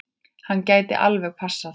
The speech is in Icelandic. Hann gæti alveg passað það.